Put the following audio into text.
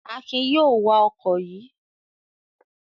Akin yóò wa ọkọ̀ yìí